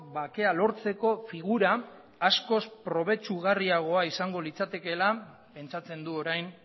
bakea lortzeko figura askoz probetsugarriagoa izango litzatekeela pentsatzen du orain